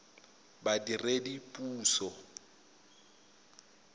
badiredipuso